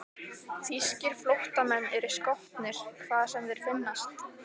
Þýskir flóttamenn eru skotnir, hvar sem þeir finnast.